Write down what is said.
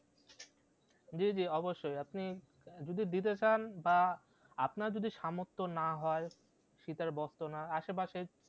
জি জি অবশ্যই আপনি যদি দিতে চান বা আপনার যদি সামর্থ না হয় শীতের বস্ত্র না আসে পাশে